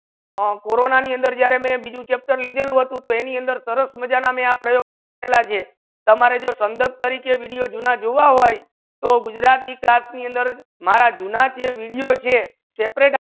અમ Cororna ની અંદર જ્યારે મેં બીજુ chapter લિધેલુ હતુ તો એની અંદર સરસ મઝા ની આ પરિયોગ તમારે જો સંદર્ભ તરીકે video જૂના જુવા હોય તો ગુજરાતી class ની અંદર મારા જુના છે video છે chapter